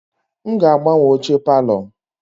M ga-agbanwe oche palọ.